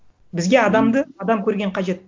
бізге адамды адам көрген қажет